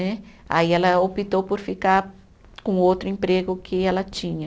Aí ela optou por ficar com outro emprego que ela tinha.